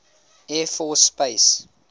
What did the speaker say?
air force space